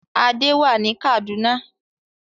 Adé wà ní Kaduna.